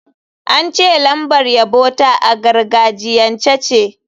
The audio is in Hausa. An ce lambar yabo ta a gargajiyance ce.